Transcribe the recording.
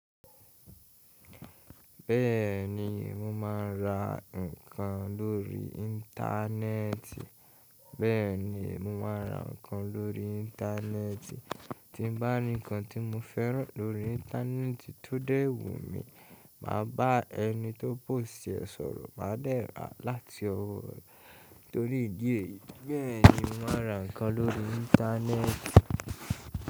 Bẹ́ẹ̀ni, mo máa ń ra nǹkan lórí Íńtánẹ́ẹ̀tì. Bẹ́ẹ̀ni, mo máa ń ra nǹkan lórí Íńtánẹ́ẹ̀tì. Tí bàá rí nǹkan tí mo fẹ́ràn lórí Íńtánẹ́ẹ̀tì tó dẹ́ẹ̀wù mi, màá bá ẹni tó pòṣi ẹ sọ̀rọ̀, màá dẹ̀ rà á láti ọwọ́ rẹ̀ torí ìdí èyí. Bẹ́ẹ̀ni, mo ma ra nǹkan lórí Íńtánẹ́ẹ̀tì.